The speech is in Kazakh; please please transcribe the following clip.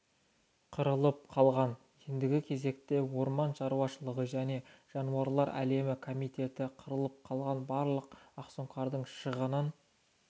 қырылып қалған ендігі кезекте орман шаруашылығы және жануарлар әлемі комитеті қырылып қалған барлық ақсұңқардың шығынын